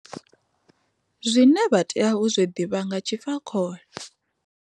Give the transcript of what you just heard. Zwine vha tea u zwi ḓivha nga ha tshifakhole.